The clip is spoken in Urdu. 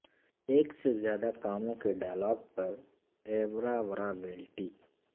ایک سے زیادہ کاموں کے ڈائیلاگ پر ایوراورا ویلٹی